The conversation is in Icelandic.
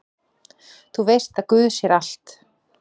Þú veist að guð sér allt!